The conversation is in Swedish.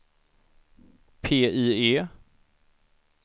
PIE